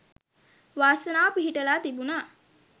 වාසනාව පිහිටලා තිබුනා.